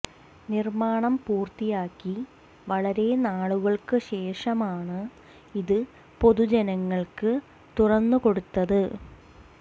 നിര്മ്മാണം പൂര്ത്തിയാക്കി വളരെ നാളുകള്ക്ക് ശേഷമാണ് ഇത് പൊതു ജനങ്ങള്ക്ക് തുറന്ന് കൊടുത്തത്